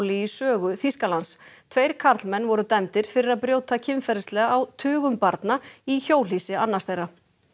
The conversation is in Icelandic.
í sögu Þýskalands tveir karlmenn voru dæmdir fyrir að brjóta kynferðislega á tugum barna í hjólhýsi annars þeirra